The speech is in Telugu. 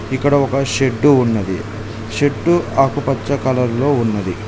ఇక్కడ ఒక షెడ్డు ఉన్నది షెడ్డు ఆకుపచ్చ కలర్ లో ఉన్నది.